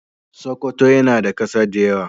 Sokoto yana da kasa da yawa.